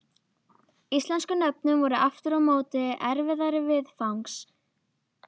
Íslensku nöfnin voru aftur á móti erfiðari viðfangs.